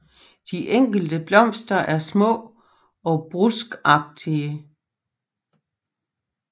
De enkelte blomster er små og bruskagtige